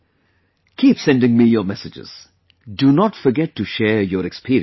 Keep sending me your messages; do not forget to share your experiences